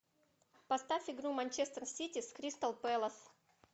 поставь игру манчестер сити с кристал пэлас